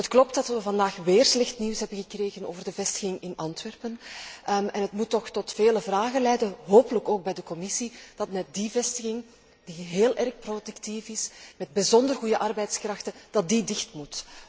Het klopt dat we vandaag weer slecht nieuws hebben gekregen over de vestiging in Antwerpen en het moet toch tot vele vragen leiden hopelijk ook bij de Commissie dat net die vestiging, die heel erg productief is, met bijzonder goede arbeidskrachten, dicht moet.